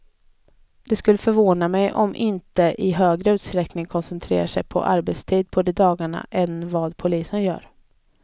Det skulle förvåna mig om de inte i högre utsträckning koncentrerar sin arbetstid på de dagarna än vad polisen gör.